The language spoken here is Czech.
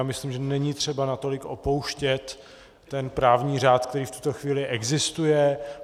Já myslím, že není třeba natolik opouštět ten právní řád, který v tuto chvíli existuje.